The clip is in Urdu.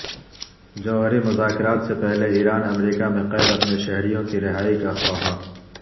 جوہری مذاکرات سے پہلے ایران امریکہ میں قید اپنے شہریوں کی رہائی کا خواہاں